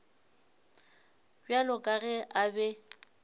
bjalo ka ge a be